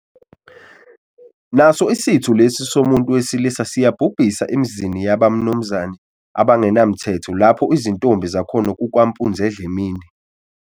Naso isitho lesi somuntu wesilisa siyabhubhisa emzini yabamnumzane abangenamthetho lapho izintombi zakhona kukwampunzidlemini.